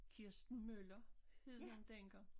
Kirsten Møller hed hun dengang